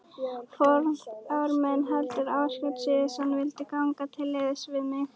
Forráðamenn Heildverslunar Ásgeirs Sigurðssonar vildu ganga til liðs við mig.